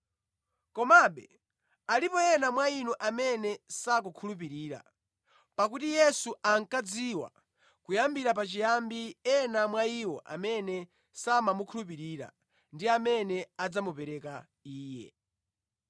Komabe alipo ena mwa inu amene sakukhulupirira.” Pakuti Yesu ankadziwa kuyambira pachiyambi ena mwa iwo amene samakhulupirira ndi amene adzamupereka Iye.